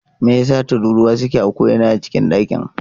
Me yasa tururuwa suke a ko'ina a cikin dakin?